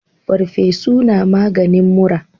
Farfesu na maganin mura